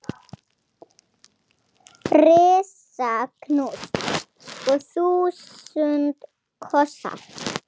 Risa knús og þúsund kossar.